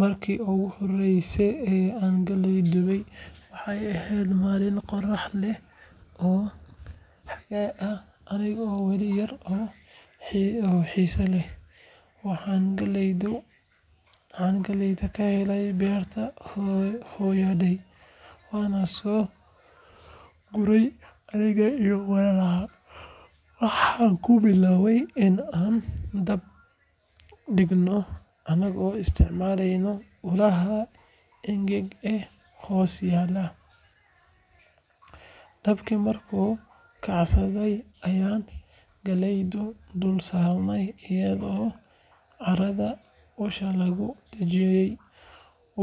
Markii iigu horreysay ee aan galley dubtay waxay ahayd maalin qorrax leh oo xagaaga ah, anigoo weli yar oo xiise leh. Waxaan galleyda ka helnay beerta hooyaday, waana soo gurannay aniga iyo walaalahay. Waxaan ku bilownay in aan dab dhigno anagoo isticmaalayna ulaha engeg ee hoos yaallay. Dabkii markuu kacsaday ayaan galleyda dul saarney iyadoo caarada usha lagu dhejiyay.